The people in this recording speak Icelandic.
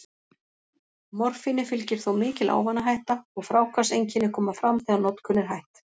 Morfíni fylgir þó mikil ávanahætta, og fráhvarfseinkenni koma fram þegar notkun er hætt.